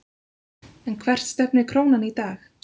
En hvert stefnir krónan í dag?